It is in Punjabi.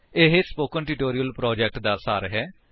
ਇਹ ਸਪੋਕਨ ਟਿਊਟੋਰਿਅਲ ਪ੍ਰੋਜੇਕਟ ਦਾ ਸਾਰ ਹੈ